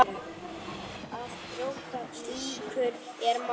Að brjóta ísinn